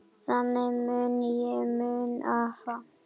Þannig mun ég muna afa.